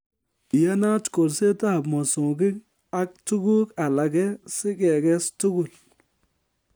Iyanat kolsetab mosongik ak tuguuk alage sikekes tugul